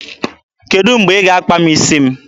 Kedụ mgbe ị ga-akpa m isi m?